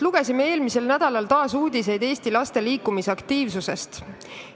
Lugesime eelmisel nädalal taas uudiseid Eesti laste liikumisaktiivsuse kohta.